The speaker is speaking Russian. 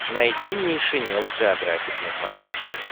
найди нейшенел джеографик на смотрешке